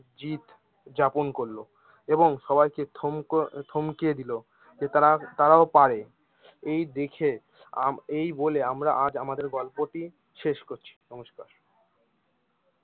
জিত যাপন করলো এবং সবাইকে থমক থমকে দিলো যে তারা তারাও পারে এই দেখে আম এই বলে আমরা আজ আমাদের গল্পটি শেষ করছি নমস্কার।